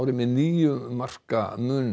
með níu marka mun